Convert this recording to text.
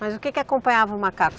Mas o que que acompanhava o macaco?